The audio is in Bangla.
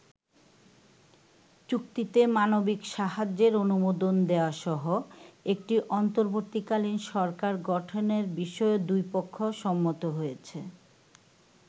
চুক্তিতে মানবিক সাহায্যের অনুমোদন দেয়াসহ একটি অন্তর্বর্তীকালীন সরকার গঠনের বিষয়েও দুই পক্ষ সম্মত হয়েছে।